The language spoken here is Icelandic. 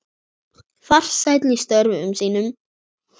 Farsæll í störfum sínum.